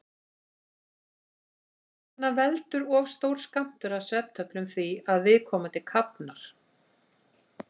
Þess vegna veldur of stór skammtur af svefntöflum því að viðkomandi kafnar.